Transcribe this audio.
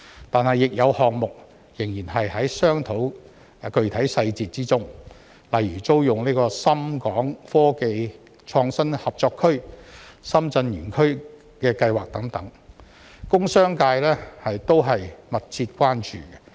但是，亦有項目仍在商討具體細節中，例如租用深港科技創新合作區深圳園區的計劃等，工商界均密切關注。